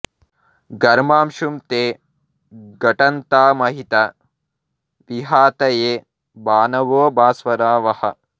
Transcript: ఘర్మాంశుం తే ఘటన్తా మహిత విహతయే భానవో భాస్వరా వః